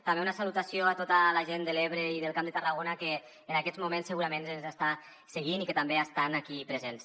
també una salutació a tota la gent de l’ebre i del camp de tarragona que en aquests moments segurament ens està seguint i que també estan aquí presents